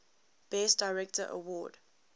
best director award